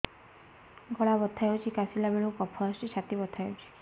ଗଳା ବଥା ହେଊଛି କାଶିଲା ବେଳକୁ କଫ ଆସୁଛି ଛାତି ବଥା ହେଉଛି